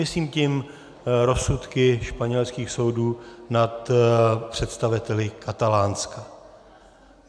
Myslím tím rozsudky španělských soudů nad představiteli Katalánska.